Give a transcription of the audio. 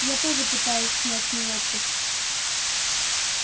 я тоже пытаюсь снять неловкость